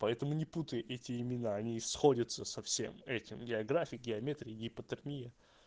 поэтому не путай эти имена они сходятся со всем этим географии геометрии гипотермия